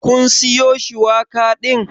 Kin siyo shuwaka din?